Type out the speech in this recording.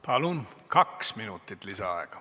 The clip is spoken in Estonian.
Palun, kaks minutit lisaaega!